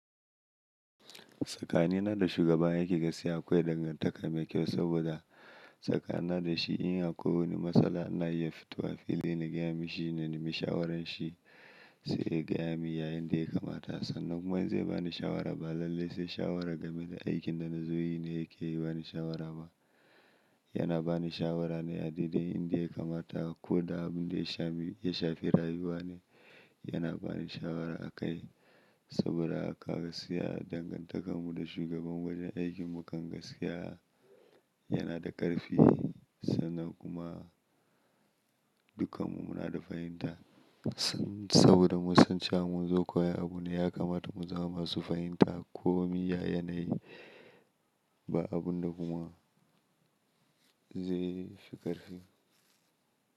Tsaka ni na da shugaban aiki gaskiya akwai dangantaka mai kyau saboda saka na da shi in ya koyi wani matsala ana iya fito a fili na gaya mishi na nemi shawarar shi sai ya gaya min ya yada ya kamata. Sannan kuma zai bani shawara ba lallai sai shawara game da aikin da na zo yi ne yake bani shawara ba. Yana bani shawara ne adaidai inda ya kamata. Ko da abun da ya shafi rayuwa ne yana bani shawara akai saboda gaskiya dangantakar mu da shugaban wajen aikin mu kan gaskiya yana da ƙarfi. Sannan kuma dukkan mu muna da fahimta saboda mu san cewa mun zo koyi abu ne ya kamata mu zama masu fahimta komi ya yanayi ba abun da kuma zai fi ƙarfi.